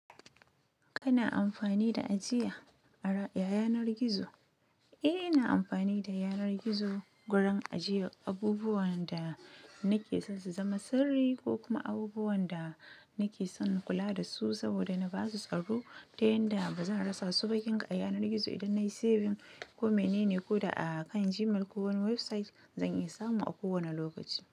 Kana amfani da ajiya ara, ya yanar gizo? Eh, ina amfani da yanar gizo gurin ajiyar abubuwan da nake son su zama sirri ko kuma abubuwan da nake son kula da su saboda na ba su tsaro, ta yanda ba zan rasa su ba. Kinka a yanar gizo idan na yi saving ko menene ko da a kan Gmail ko wani website, zan iya samu a kowani lokaci.